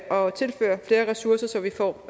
og tilføre flere ressourcer så vi får